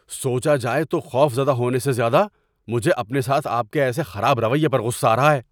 سوچا جائے تو خوف زدہ ہونے سے زیادہ مجھے اپنے ساتھ آپ کے ایسے خراب رویے پر غصہ آ رہا ہے۔